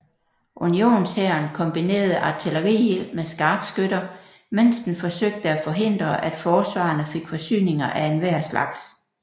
Unionshæren kombinerede artilleriild med skarpskytter mens den forsøgte at forhindre at forsvarerne fik forsyninger af enhver slags